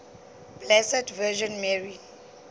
blessed virgin mary